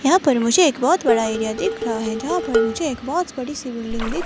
यहां पर मुझे एक बहोत बड़ा एरिया दिख रहा है जहां पर मुझे एक बहोत बड़ीसी बिल्डिंग दिख--